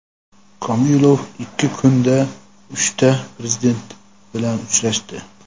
Komilov ikki kunda uchta Prezident bilan uchrashdi.